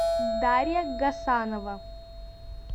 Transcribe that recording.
дарья гасанова